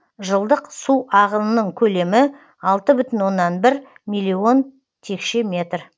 жылдық су ағынының көлемі алты бүтін оннан бір миллион текше метр